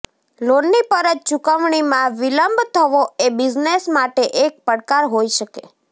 લોનની પરત ચુકવણીમાં વિલંબ થવો એ બિઝનેસ માટે એક પડકાર હોય શકે